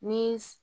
Ni